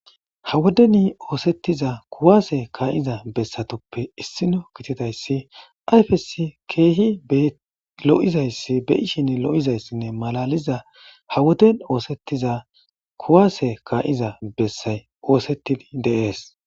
Hawodeni oosettiza kuwaase kaa7iza bessatoppe issino gitidayssi ayfesi keehi lo7izayssi beyishin lo7izayssinne malaliza hawoden oosettiza kuwaase kaa7iza bessay oosettidi deees.